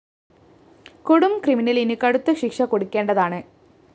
കൊടും ക്രിമിനലിന് കടുത്ത ശിക്ഷ കൊടുക്കേണ്ടതാണ്